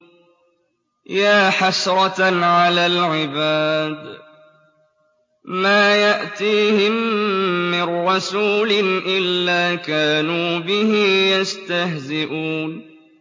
يَا حَسْرَةً عَلَى الْعِبَادِ ۚ مَا يَأْتِيهِم مِّن رَّسُولٍ إِلَّا كَانُوا بِهِ يَسْتَهْزِئُونَ